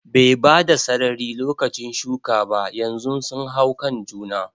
Bai bada sarari lokacin shuka ba, yanzu sun hau kan juna